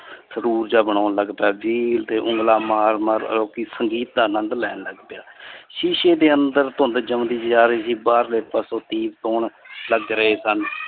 ਸਰੂਰ ਜਾ ਬਣੋਂਨ ਲੱਗ ਪਿਆ। ਤੇ ਉਂਗਲਾਂ ਮਾਰ-ਮਾਰ ਸੰਗੀਤ ਦਾ ਆਨੰਦ ਲੈਣ ਲਗ ਪਿਆ। ਸ਼ੀਸ਼ੇ ਦੇ ਅੰਦਰ ਧੁੰਦ ਜੋਣਦੀ ਜੀ ਆ ਰਹੀ ਸੀ। ਬਾਰਲੇ ਪਾਸੋ ਗੀਤ ਗੌਣ ਲੱਗ ਰਏ ਸਨ।